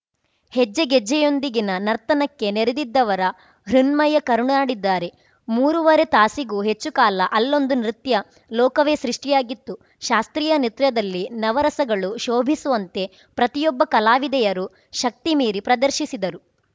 ಹೆಜ್ಜೆಗೆಜ್ಜೆಯೊಂದಿಗಿನ ನರ್ತನಕ್ಕೆ ನೆರೆದಿದ್ದವರ ಹೃನ್ಮಯ ಕರುನಾಡಿದ್ದಾರೆ ಮೂರೂವರೆ ತಾಸಿಗೂ ಹೆಚ್ಚು ಕಾಲ ಅಲ್ಲೊಂದು ನೃತ್ಯ ಲೋಕವೇ ಸೃಷ್ಟಿಯಾಗಿತ್ತು ಶಾಸ್ತ್ರೀಯ ನೃತ್ಯದಲ್ಲಿ ನವರಸಗಳು ಶೋಭಿಸುವಂತೆ ಪ್ರತಿಯೊಬ್ಬ ಕಲಾವಿದೆಯರು ಶಕ್ತಿಮೀರಿ ಪ್ರದರ್ಶಿಸಿದರು